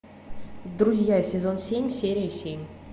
друзья сезон семь серия семь